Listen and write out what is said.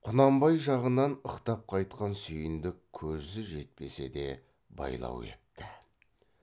құнанбай жағынан ықтап қайтқан сүйіндік көзі жетпесе де байлау етті